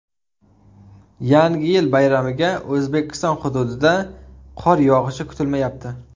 Yangi yil bayramiga O‘zbekiston hududida qor yog‘ishi kutilmayapti.